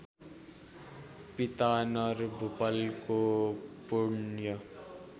पिता नरभूपालको पुण्य